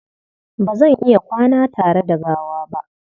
Ba zan iya kwana tare da gawa ba.